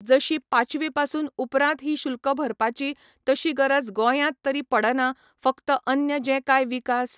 जशी पाचवी पासून उपरांत ही शुल्क भरपाची तशी गरज गोंयांत तरी पडना, फक्त अन्य जें कांय विकास